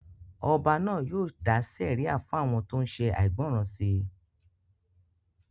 Ọba náà yóò dá sẹ̀ríà fún àwọn tó ṣe àìgbọràn sí